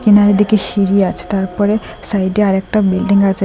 এনার এদিকে সিঁড়ি আছে তারপরে সাইডে আরেকটা বিল্ডিং আছে।